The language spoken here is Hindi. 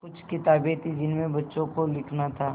कुछ किताबें थीं जिनमें बच्चों को लिखना था